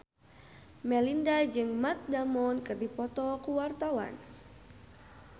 Melinda jeung Matt Damon keur dipoto ku wartawan